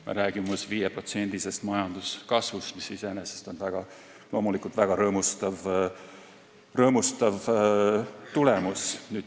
Me räägime 5%-sest majanduskasvust, mis iseenesest on loomulikult väga rõõmustav tulemus.